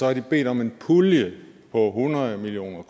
har bedt om en pulje på hundrede million